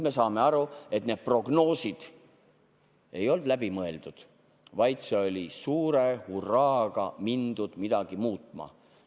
Me saame aru, et need prognoosid ei olnud läbi mõeldud, vaid suure hurraaga mindi midagi muutma.